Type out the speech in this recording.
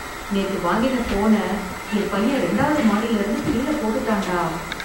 நேத்து வாங்கின போன என் பையன் ரெண்டாவது மாடியில இருந்து கீழே போட்டுட்டான் டா.